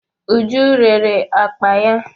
Uju rere akpa ya.